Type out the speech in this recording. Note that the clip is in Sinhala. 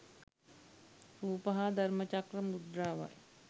රූප හා ධර්මචක්‍ර මුද්‍රාවයි.